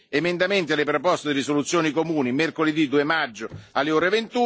ore 20.00, gli emendamenti alle proposte di risoluzione comune mercoledì 2 maggio alle